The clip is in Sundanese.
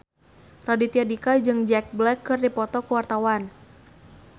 Raditya Dika jeung Jack Black keur dipoto ku wartawan